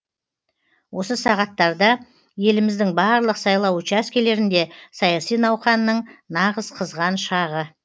осы сағаттарда еліміздің барлық сайлау учаскелерінде саяси науқанның нағыз қызған шағы